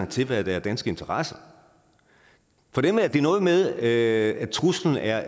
til hvad der er danske interesser for dem er det noget med at truslen er